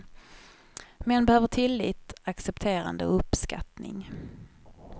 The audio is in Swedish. Män behöver tillit, accepterande och uppskattning.